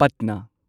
ꯄꯠꯅꯥ